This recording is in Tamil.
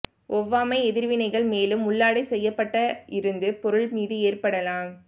ஒவ்வாமை எதிர்வினைகள் மேலும் உள்ளாடை செய்யப்பட்ட இருந்து பொருள் மீது ஏற்படலாம்